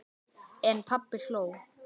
En pabbi hló.